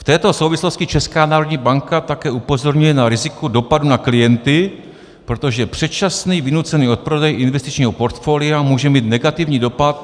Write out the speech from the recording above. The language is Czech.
V této souvislosti Česká národní banka také upozorňuje na riziko dopadu na klienty, protože předčasný vynucený odprodej investičního portfolia může mít negativní dopad...